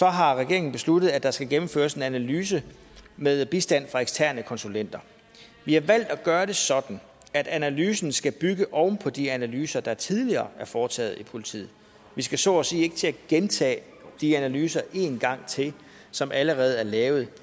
har regeringen besluttet at der skal gennemføres en analyse med bistand fra eksterne konsulenter vi har valgt at gøre det sådan at analysen skal bygge oven på de analyser der tidligere er foretaget i politiet vi skal så at sige ikke til at gentage de analyser en gang til som allerede er lavet